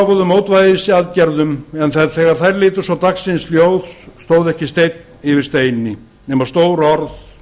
lofuðu mótvægisaðgerðum en þegar þær litu svo dagsins ljós stóð ekki steinn yfir steini nema stór orð